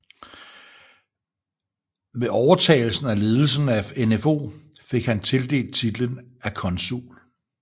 Ved overtagelsen af ledelsen af NfO fik kan tildelt titel af Konsul